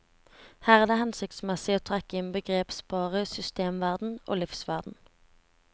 Her er det hensiktsmessig å trekke inn begrepsparet systemverden og livsverden.